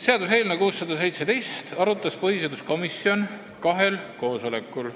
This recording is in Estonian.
Seaduseelnõu 617 arutas põhiseaduskomisjon kahel koosolekul.